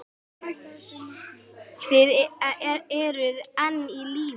Þið eruð enn á lífi!